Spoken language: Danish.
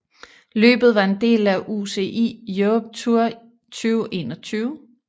Løbet var en del af UCI Europe Tour 2021